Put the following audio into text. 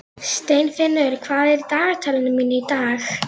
Steinfinnur, hvað er í dagatalinu mínu í dag?